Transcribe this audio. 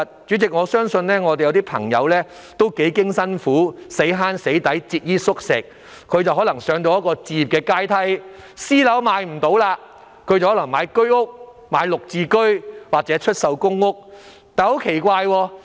主席，有些市民幾經辛苦，節衣縮食，終能攀上置業階梯，不能買私樓的話，便買居屋、綠置居或出售公屋。